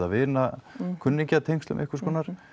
vina kunningja tengslum einhvers konar